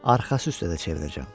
Arxası üstə də çevirəcəm.